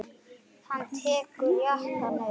Hann tekur jakkann upp.